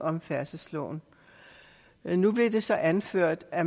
om færdselsloven nu blev det så anført at